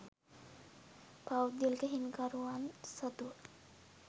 පෞද්ගලික හිමිකරුවන් සතුව